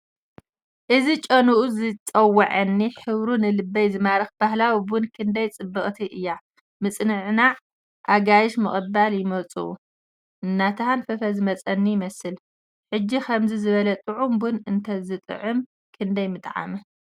እዚ ጨናኡ ዝጽውዓኒ፡ ሕብሩ ንልበይ ዝማርኽ ባህላዊ ቡን ክንደይ ጽብቕቲ እያ! ምጽንናዕን ኣጋይሽ ምቕባልን የምጽእ፡ እናተሃንፈፈ ዝመጸኒ ይመስል። ሕጂ ከምዚ ዝበለ ጥዑም ቡን እንተዝጥዕም ክንደይ ምጠዓም?